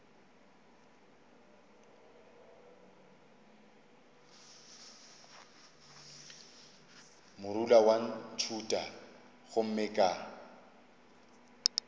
morula wa ntšhutha gomme ka